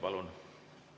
Palun!